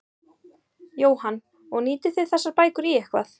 Jóhann: Og nýtið þið þessar bækur í eitthvað?